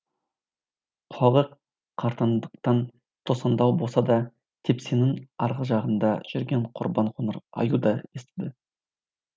құлағы қартаңдықтан тосаңдау болса да тепсеңнің арғы жағында жүрген қорбаң қоңыр аю да естіді